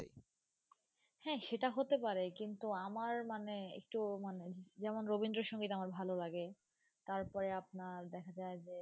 হ্যাঁ সেটা হতে পারে কিন্তু আমার মানে একটু মানে যেমন রবীন্দ্র সঙ্গিত আমার ভালো লাগে তারপরে আপনার দেখা যায় যে,